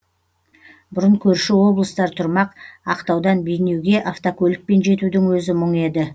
бұрын көрші облыстар тұрмақ ақтаудан бейнеуге автокөлікпен жетудің өзі мұң еді